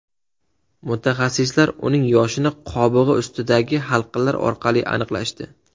Mutaxassislar uning yoshini qobig‘i ustidagi halqalar orqali aniqlashdi.